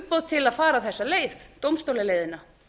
umboð til að fara þessa leið dómstólaleiðina